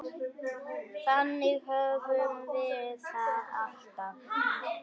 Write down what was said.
Þannig höfum við það alltaf.